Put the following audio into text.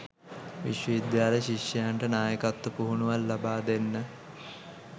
විශ්ව විද්‍යාල ශිෂ්‍යයින්ට නායකත්ව පුහුණුවක් ලබා දෙන්න